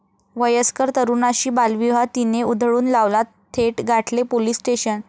वयस्कर तरुणाशी बालविवाह 'ती'ने उधळून लावला, थेट गाठले पोलीस स्टेशन!